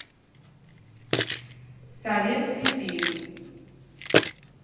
советский фильм